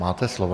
Máte slovo.